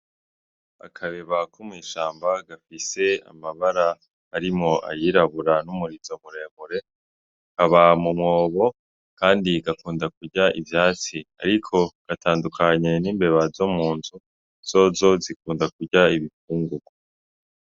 Akabeba ko mw'ishamba gafise amabara harimwo ayirabura n' umurizo mure mure kaba mu mwobo kandi gakunda kurya ivyatsi ariko gatandukanye n'imbeba zo mu nzu zozo zikunda kurya ibifungugwa.